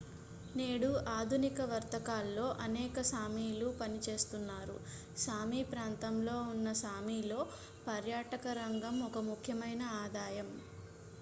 నేడు ఆధునిక వర్తకాల్లో అనేక సామీలు పనిచేస్తున్నారు సామీ ప్రాంతంలో ఉన్న సామీలో పర్యాటకరంగం ఒక ముఖ్యమైన ఆదాయం